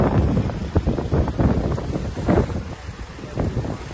Yaxşı, qaz.